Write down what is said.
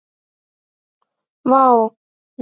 Var þá ekkert úr járni á eiröld?